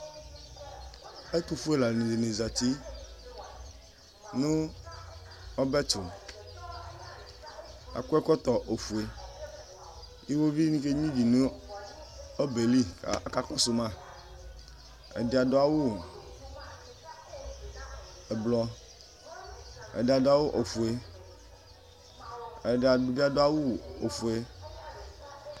Ɛtʋfue lani di zati nʋ ɔbɛ tʋ Akɔ ɛkɔtɔ ofue Iwɔviu ni kenyua ivi nʋ ɛbɛ yɛ li kʋ akakɔsʋ ma Ɛdi adʋ awʋ ʋblʋɔ, ɛdi adʋ awʋ ofue, ɛdi bi adʋ awʋ ofue